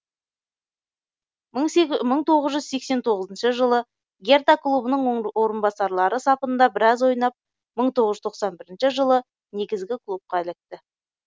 мың тоғыз жүз сексен тоғызыншы жылы герта клубының орынбасарлары сапында біраз ойнап мың тоғыз жүз тоқсан бірінші жылы негізгі клубқа ілікті